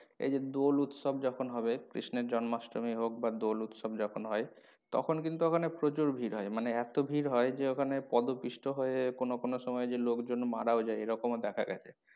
এই যে দোল উৎসব যখন হবে কৃষ্ণের জন্মাষ্টমী হোক বা দোল উৎসব যখন হয় তখন কিন্তু ওখানে প্রচুর ভিড় হয় মানে এতো ভিড় হয় যে ওখানে পদপিষ্ট হয়ে কোনো কোনো সময়ে যে লোকজন মারাও যায় এরকমও দেখা গেছে